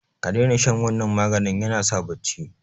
kadaina shan wannan maganin yanasa bacci